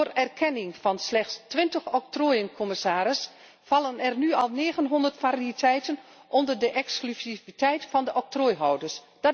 Door erkenning van slechts 20 octrooien, commissaris, vallen er nu al 900 variëteiten onder de exclusiviteit van de octrooihouders.